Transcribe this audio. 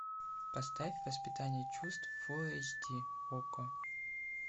поставь воспитание чувств фулл эйч ди окко